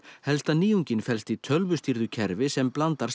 helsta nýjungin felst í tölvustýrðu kerfi sem blandar